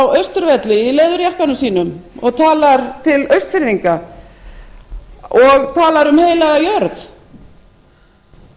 á austurvelli í leðurjakkanum sínum og talar til austfirðinga og talar um heila jörð